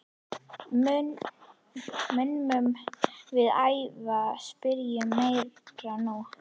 Munum við æfa spyrnurnar meira núna?